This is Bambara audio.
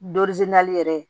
yɛrɛ